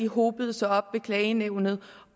hobede sig op i klagenævnet